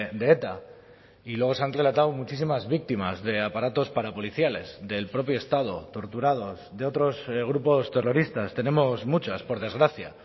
de eta y luego se han relatado muchísimas víctimas de aparatos parapoliciales del propio estado torturados de otros grupos terroristas tenemos muchas por desgracia